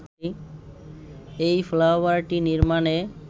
এই ফ্লাইওভারটি নির্মাণে